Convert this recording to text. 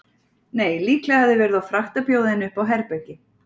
Nei, líklega hefði verið of frakkt að bjóða henni upp á herbergi.